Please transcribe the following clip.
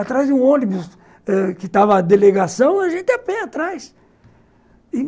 Atrás de um ônibus êh que estava a delegação, a gente ia a pé atrás.